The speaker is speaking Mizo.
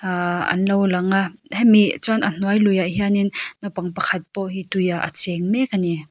aaa an lo langa hemi chuan a hnuai luiah hianin naupang pakhat pawh hi tuiah a cheng mek ani.